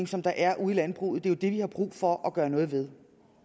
som der er ude i landbruget det er jo det vi har brug for at gøre noget ved